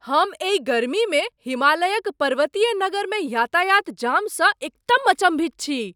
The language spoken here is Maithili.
हम एहि गर्मीमे हिमालयक पर्वतीय नगरमे यातायात जामसँ एकदम अचम्भित छी!